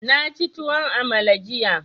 Na ci tuwon amala jiya.